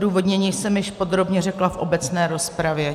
Odůvodnění jsem již podrobně řekla v obecné rozpravě.